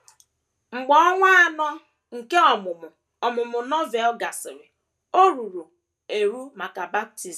Mgbe ọnwa anọ nke ọmụmụ ọmụmụ Novel gasịrị, o ruru eru maka baptism.